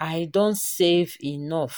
i don save enough